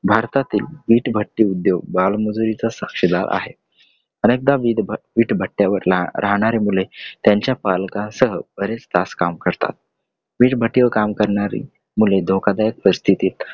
भारतातील वीटभट्टी उद्योग बालमजुरीचा साक्षीदार आहे. अनेकदा वीटभट्टीवर राहणारी मूल त्यांच्या पालकांसोबत बरेच तास काम करतात. वीटभट्टीवर काम करणारी मुलं धोकादायक परिस्थितीत